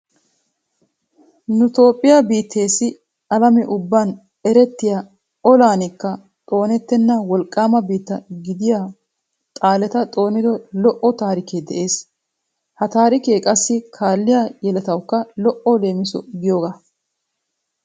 Nu toophphiya biitteessi alame ubban erettiya olaanikka xoonwttenna wolqqaama biitta gidiyo xaaleta xoonido lo'o taarikee de'ees. Ha taarikee qassi kaalliya yeletawukka lo'o leemiso giyogaa.